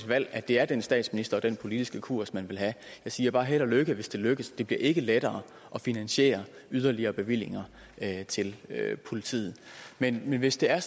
valg at det er den statsminister og den politiske kurs man vil have jeg siger bare held og lykke hvis det lykkes det bliver ikke lettere at finansiere yderligere bevillinger til politiet men hvis det er